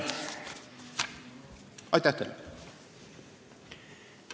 Aitäh teile!